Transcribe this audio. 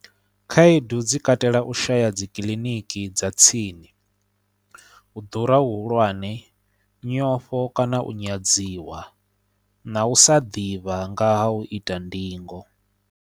Khaedu dzi katela u shaya dzi kiḽiniki dza tsini u ḓura hu hulwane nyofho kana u nyadziwa na u sa ḓivha nga ha u ita ndingo.